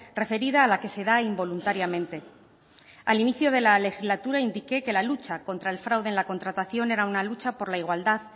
referida a la que se da involuntariamente al inicio de la legislatura indique que la lucha contra el fraude en la contratación era una lucha por la igualdad